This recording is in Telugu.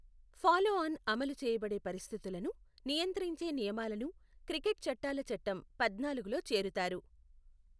ఫాలో ఆన్ అమలు చేయబడే పరిస్థితులను నియంత్రించే నియమాలను క్రికెట్ చట్టాల చట్టం పద్నాలుగులో చేరుతారు.